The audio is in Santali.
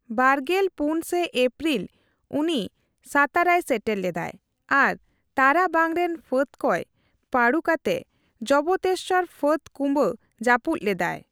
ᱵᱟᱜᱮᱞ ᱯᱩᱱ ᱥᱮ ᱮᱯᱯᱤᱨᱤᱞ ᱩᱱᱤ ᱥᱟᱛᱟᱨᱟᱭ ᱥᱮᱴᱮᱨ ᱞᱮᱫᱟᱭ ᱟᱨ ᱛᱟᱨᱟᱵᱟᱝ ᱨᱮᱱ ᱯᱷᱟᱹᱫᱽ ᱠᱚᱭ ᱯᱟᱸᱰᱩ ᱠᱟᱛᱮ ᱡᱚᱵᱛᱮᱥᱥᱚᱨ ᱯᱷᱟᱹᱫ ᱠᱩᱵᱟᱹ ᱡᱟᱹᱯᱩᱫ ᱞᱮᱫᱟᱭ ᱾